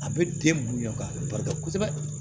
A bɛ den bonya ka barika kosɛbɛ